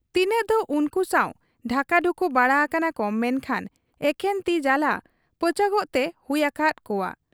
ᱛᱤᱱᱟᱹᱜᱫᱚ ᱩᱱᱠᱩ ᱥᱟᱶ ᱰᱷᱟᱠᱟ ᱰᱷᱩᱠᱩ ᱵᱟᱲᱟ ᱟᱠᱟᱱᱟᱠᱚ ᱢᱮᱱᱠᱷᱟᱱ ᱮᱠᱮᱱ ᱛᱤ ᱡᱟᱞᱟ ᱯᱟᱹᱪᱟᱹᱠᱚᱜ ᱛᱮ ᱦᱩᱭ ᱟᱠᱟᱦᱟᱫ ᱠᱚᱣᱟ ᱾